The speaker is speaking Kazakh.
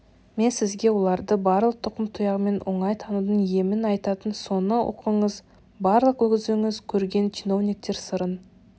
мен сізге оларды барлық тұқым-тұяғымен оңай танудың емін айтайын соны оқыңыз барлық өзіңіз көрген чиновниктер сырын